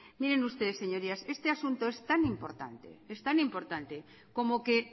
miren ustedes señorías este asunto es tan importante como que